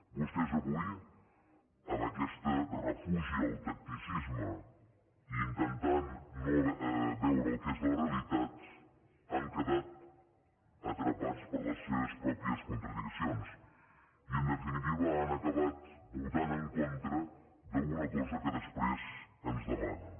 vostès avui amb aquest refugi al tacticisme i intentant no veure el que és la realitat han quedat atrapats per les seves pròpies contradiccions i en definitiva han acabat votant en contra d’una cosa que després ens demanen